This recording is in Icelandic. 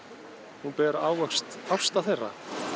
hún ber ávöxt ástar þeirra